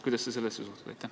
Kuidas sa sellesse suhtud?